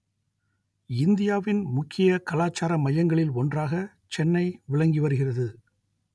இந்தியாவின் முக்கிய கலாச்சார மையங்களில் ஒன்றாக சென்னை விளங்கி வருகிறது